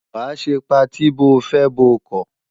Wàá ṣe patí bóo fẹ́ bóo kọ̀!